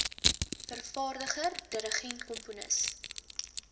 vervaardiger dirigent komponis